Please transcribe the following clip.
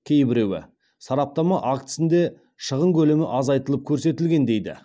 кейбіреуі сараптама актісінде шығын көлемі азайтылып көрсетілген дейді